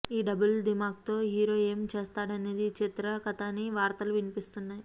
ఈ డబుల్ దిమాక్తో హీరో ఏం చేస్తాడనేది ఈ చిత్ర కథ అని వార్తలు వినిపిస్తున్నాయి